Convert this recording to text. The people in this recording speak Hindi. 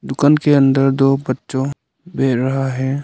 दुकान के अंदर दो बच्चों भी रहा है।